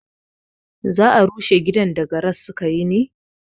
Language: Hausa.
Za a rushe gidan da garar sukayi ne?